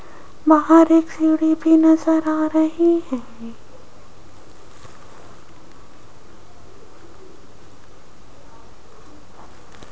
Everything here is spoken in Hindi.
बाहर एक सीढ़ी भी नजर आ रही हैं।